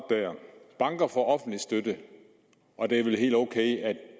banker får offentlig støtte og det er vel helt ok at